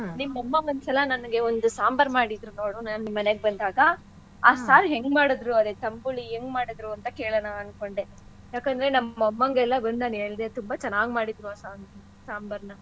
ನಿಮ್ಮಮ್ಮ ಒಂದ್ಸಲ ನನ್ಗೆ ಒಂದ್ ಸಾಂಬಾರ್ ಮಾಡಿದ್ರು ನೋಡು ನಾನ್ ನಿಮ್ ಮನೆಗೆ ಬಂದಾಗ ಆ ಸಾರ್ ಹೆಂಗ್ಮಾಡಿದ್ರು ಅದೇ ತಂಬುಳಿ ಹೆಂಗ್ ಮಾಡಿದ್ರು ಅಂತ ಕೇಳನ ಅನ್ಕೊಂಡೆ. ಯಾಕಂದ್ರೆ ನಮ್ ಅಮ್ಮಾಂಗೆಲ್ಲ ಬಂದ್ ನಾನ್ ಹೇಳ್ದೆ ತುಂಬಾ ಚೆನ್ನಾಗ್ ಮಾಡಿದ್ರು ಆ ಸಾಂಬ~ ಸಾಂಬಾರ್ನ.